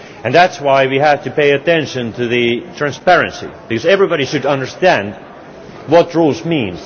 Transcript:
That is why we have to pay attention to transparency, because everybody should understand what the rules mean.